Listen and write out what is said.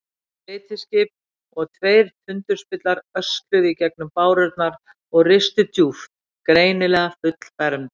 Tvö beitiskip og tveir tundurspillar ösluðu í gegnum bárurnar og ristu djúpt, greinilega fullfermd.